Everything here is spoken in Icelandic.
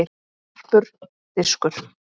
Sarpur- Diskur.